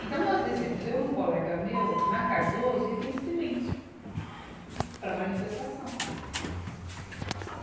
Então, nós descemos, eu e um colega meu, na Cardoso, e aquele silêncio para a manifestação.